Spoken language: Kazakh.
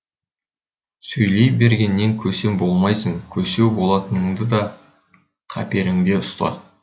сөйлей бергеннен көсем болмайсың көсеу болатыныңды да қаперіңде ұста